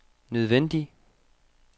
nødvendig